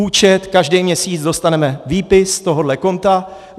Účet - každý měsíc dostaneme výpis z tohoto konta.